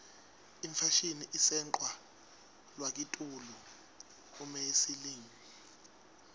ifashini itsenqwa luakitulu umeyeseyilimi